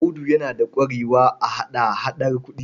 Audu yana da ƙwarewa a hada-hadar kuɗi.